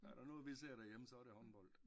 Er der noget vi ser derhjemme så er det håndbold